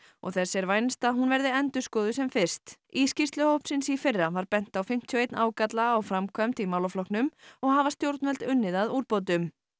og þess vænst að hún verði endurskoðuð sem fyrst í skýrslu hópsins í fyrra var bent á fimmtíu og eitt ágalla á framkvæmd í málaflokknum og hafa stjórnvöld unnið að úrbótum